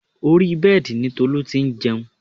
Orí bẹ́ẹ̀dì ni Tolu ti jẹun